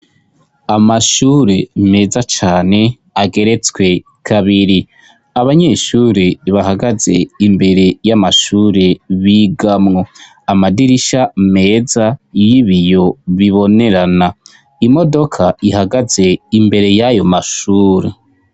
Amashure meza cane ageretswe kabiri abanyeshuri bahagaze imbere y'amashure bigamwo amadirisha meza y'ibiyo bibonerana imodoka ihagaze imbere y'ayo mashure.